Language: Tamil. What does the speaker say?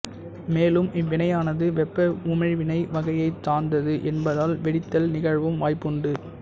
மேலும் இவ்வினையானது வெப்ப உமிழ்வினை வகையைச் சார்ந்தது என்பதால் வெடித்தல் நிகழவும் வாய்ப்புண்டு